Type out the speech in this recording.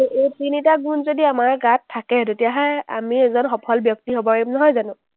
এই তিনিটা গুণ যদি আমাৰ গাত থাকে, তেতিয়াহ’লে আমি এজন সফল ব্যক্তি হ’ব পাৰিম, নহয় জানো?